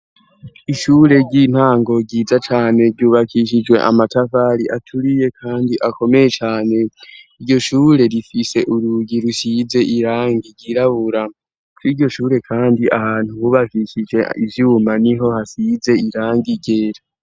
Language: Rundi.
Ishure ry'intango ryiza cane ryubakishijwe amatavari aturiye, kandi akomeye cane iryo shure rifise urugi rusize iranga igirabura ko iryo shure, kandi ahantu hubakikije ivyuma ni ho hasize irange igera.